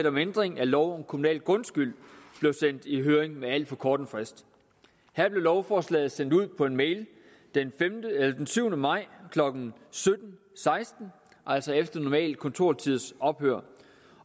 om ændring af lov om kommunal grundskyld blev sendt i høring med alt for kort en frist her blev lovforslaget sendt ud på en mail den syvende maj klokken sytten seksten altså efter normal kontortids ophør